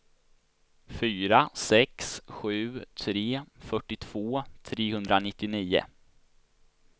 fyra sex sju tre fyrtiotvå trehundranittionio